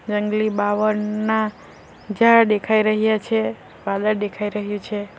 જંગલી બાવળના ઝાડ દેખાઈ રહ્યા છે વાલડ દેખાઈ રહી છે.